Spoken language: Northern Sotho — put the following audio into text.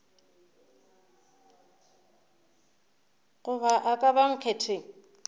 goba a ka ba nkgetheng